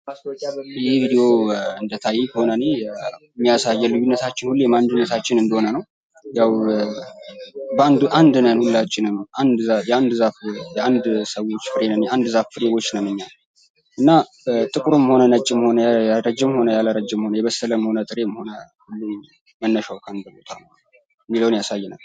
ይህ ቪዲዮ እንደታየኝ ከሆነ እኔ የሚያሳየን ልዩነታችን ሁሌም አንድነታችን እንደሆነ ነው። ያው አንድ ነን ሁላችንም አንድ ዛፍ የአንድ ዛፍ ፍሬዎች ነን እኛ እና ጥቁርም ሆነ ነጭም ሆነ ረጅምም ሆነ የበሰለም ሆነ ያልበሰለም ሆነ መነሻው ከአንድ ቦታ እንደሆነ ያሳያል።